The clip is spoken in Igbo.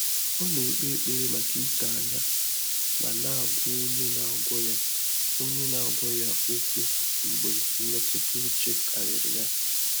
Ọ́ nà-ékpé ékpèré màkà ídòányá mà nà-àgwá ọ́nyé nà-àgwọ́ yá ọ́nyé nà-àgwọ́ yá ókwú mgbè mmétụ́tà úchè kàrị́rị̀ yá.